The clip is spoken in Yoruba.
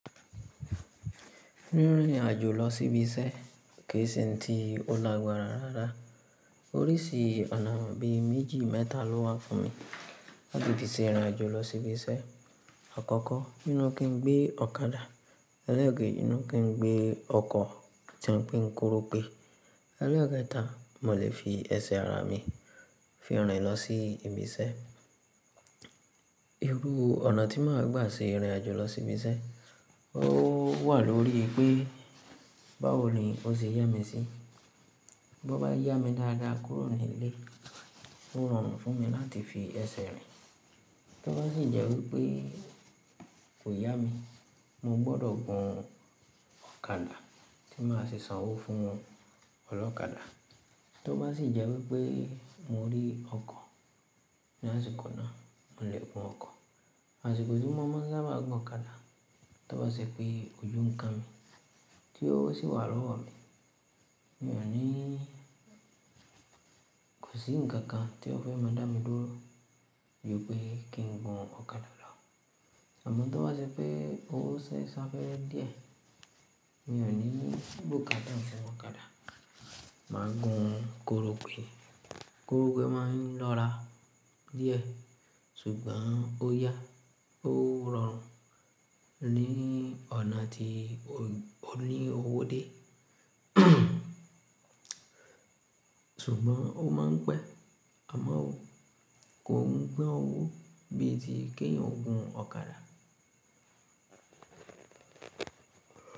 Rin rìn àjò lọ sí ibi iṣẹ́ kìí ṣe ohun ti ó lagbara rárá. Oríṣi ọ̀nà bí méjì mẹ́ta ló wà fún mi láti fi se rin ìrìn àjò lọ sí ibi iṣẹ́. Àkọ́kọ́, inú kí n gbé ọ̀kadà, elẹ́ẹ̀keji ni kí n gbé ọkọ̀ tí a ń pe ni korope, elẹ́ẹ̀ketá, mò lè fi ẹsẹ̀ ara mi fi rìn lọ sí ibi iṣẹ́. Irú ọ̀nà tí màá gbà ṣe ìrìn àjò lọ sí ibi iṣẹ́ ó wà lórí pé báwo ni o ṣe yá mi sí. Bí ó bá yá mi dáadáa kúrò ní ilé, ó rọrùn fún mi láti fi ẹsẹ̀ rìn. Tó bá sì jẹ́ wípé kò yá mi, mo gbọdọ̀ gun ọ̀kadà tí màá sì san owó fún ọlọ́kadà. Tó bá sì jẹ́ wípé mò rí ọkọ̀ ní àsìkò náà, mò lè gun ọkọ̀. Àsìkò tí mọ̀ maá sábá gun ọ̀kadà, tó bá ṣe pé emi nikan ni tí ówo sì wà lọ́wọ́ mi, mi ò ní ko sí ǹkan kan tí ó fẹ́ máa dá mi dúró ju pé kí n gun ọ̀kadà lọ́. Amo tó bá ṣe pé ówo ṣẹ̀ ṣáfẹ́re díẹ̀, mi ò ní gbókada fún ọ̀kadà, màá gun korope. Korope máa ń lọ́ra díẹ̀ ṣùgbọ́n ó yá, ó rọrùn ní ọ̀nà tí ó ní owódé. Ṣùgbọ́n ó máa ń pẹ̀ àmọ́ o kò ń gba owó bí i ti kí èèyàn gun ọ̀kadà.